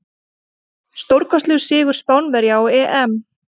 Stórkostlegur sigur Spánverja á EM.